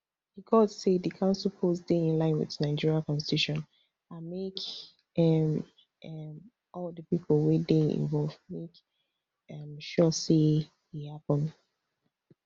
di court say di council polls dey in line wit nigeria constitution and make um um all di pipo wey dey involved make um sure say e happun